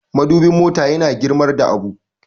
madubin mota yana girmar da abu